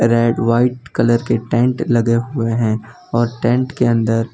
red white colour के tent लगे हुए है और टेंट के अंदर --